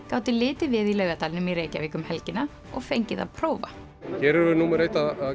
gátu litið við í Laugardalnum í Reykjavík um helgina og fengið að prófa hér erum við númer eitt að